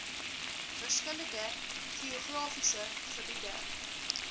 verskillende geografiese gebiede